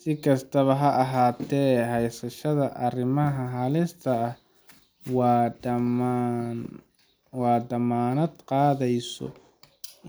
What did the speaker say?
Si kastaba ha ahaatee, haysashada arrimahan halista ah ma dammaanad qaadayso